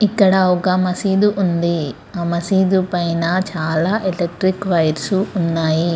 ఇక్కడ ఒక్క మసీదు ఉంది.అ మసీదు పైన చాల ఎలక్ట్రిక్ వైర్ సు ఉన్నాయి.